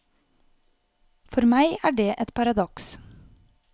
For meg er det et paradoks.